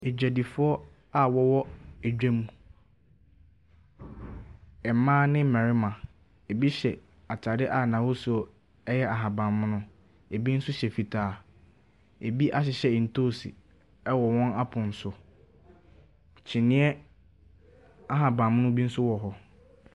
Adwadifoɔ a wɔwɔ adwam. Mmaa ne marima. Ebi hyɛ ataadeɛ a n’ahosuo yɛ ahaban mono. Ebi nso hyɛ fitaa, ebi ahyehyɛ ntoosi wɔ wɔn apono so. Kyinniiɛ ahaban mono nso wɔ hɔ.